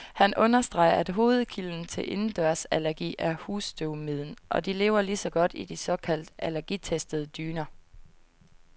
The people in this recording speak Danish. Han understreger, at hovedkilden til indendørsallergi er husstøvmiden, og de lever lige så godt i de såkaldt allergitestede dyner.